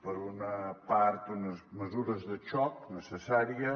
per una part unes mesures de xoc necessàries